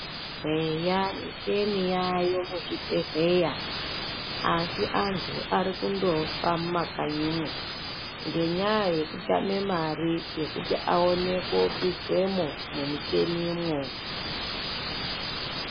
Eya micheni yaayo muzvibhedhleya, asi antu ari kundofa mumakanyimwo ngenyaya yekutame mari yekuti aone koiswemwo mumicheni mwo